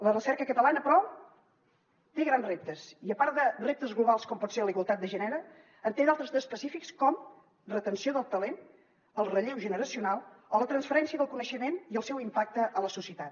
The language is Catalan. la recerca catalana però té grans reptes i a part de reptes globals com pot ser la igualtat de gènere en té d’altres d’específics com retenció del talent el relleu generacional o la transferència del coneixement i el seu impacte a la societat